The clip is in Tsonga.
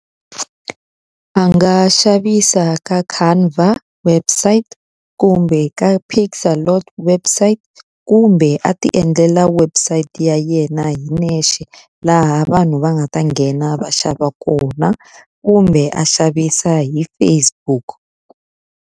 Anga xavisa ka website, kumbe ka website, kumbe a ti endlela website ya yena hi yexe laha vanhu va nga ta nghena va xava kona. Kumbe a xavisa hi Facebook.